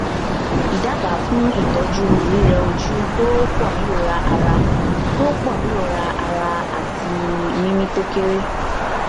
idaba fun itoju rireoju to ponirora ara to ponirora ara ati mimi to kere